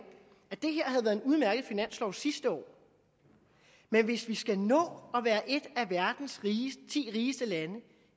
at en udmærket finanslov sidste år men hvis vi skal nå at være et af verdens ti rigeste lande